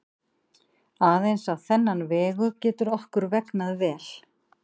Aðeins á þennan vegu getur okkur vegnað vel.